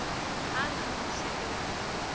hang ha ho se ho